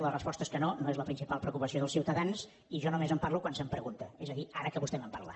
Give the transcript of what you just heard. la resposta és que no no és la principal preocupació dels ciutadans i jo només en parlo quan se’m pregunta és a dir ara que vostè me’n parla